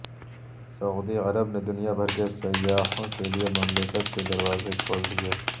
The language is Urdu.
سعودی عرب نے دنیا بھر کے سیاحوں کے لیے مملکت کے دروازے کھول دیے